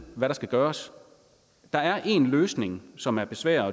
hvad der skal gøres der er en løsning som er besværlig